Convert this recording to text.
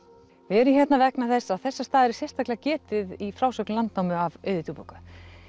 við erum hérna vegna þess að þessa staðar er sérstaklega getið í frásögn Landnámu af Auði djúpúðgu